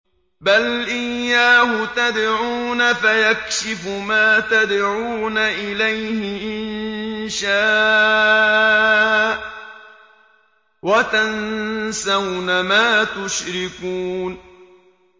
بَلْ إِيَّاهُ تَدْعُونَ فَيَكْشِفُ مَا تَدْعُونَ إِلَيْهِ إِن شَاءَ وَتَنسَوْنَ مَا تُشْرِكُونَ